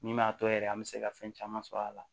Min m'a to yɛrɛ an bɛ se ka fɛn caman sɔrɔ a la